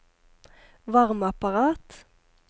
varmeapparat